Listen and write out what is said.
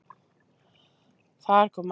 Þar kom að því